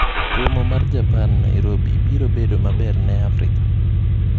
Romo mar Japan Nairobi biro bedo maber ne Afrika?